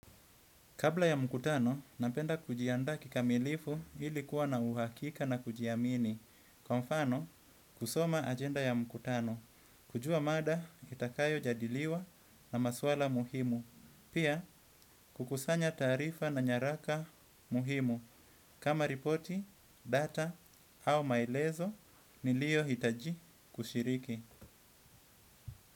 Kabla ya mkutano, napenda kujiandaa kikamilifu ili kuwa na uhakika na kujiamini. Kwa mfano, kusoma agenda ya mkutano. Kujua mada, itakayo jadiliwa na maswala muhimu. Pia, kukusanya tarifa na nyaraka muhimu. Kama ripoti, data au maelezo niliohitaji kushiriki.